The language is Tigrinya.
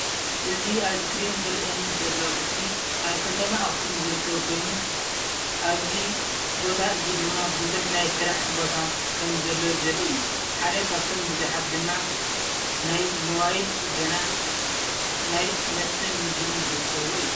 እዚ ኣብ ስክሪን ዝርአየኒ ዘሎ ምስሊ ኣብ ከተማ ኣኽሱም ዝርከብ ኮይኑ ኣብዚ ቦታ እዚ ድማ ብዙሕ ናይ ስራሕ ቦታ ከምዘሎ ዘርኢ እዩ፡፡ ሓደ ካብቶም ብዙሓት ድማ ናይ ሞባይል ፅገና፣ ናይ መስተን ምግብን ዝርከብዎ እዩ፡፡